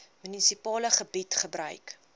munisipale gebied gebruik